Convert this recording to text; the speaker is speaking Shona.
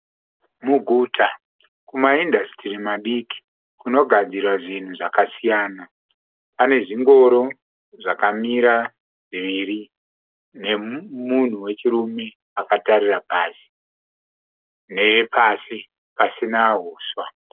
Muguta kumaindasitiri madiki kunogadzirwa zvinhu zvakasiyana. Pane zvingoro zvakamira zviviri nemunhu wechirume akatarira pasi, nepasi pasina huswa.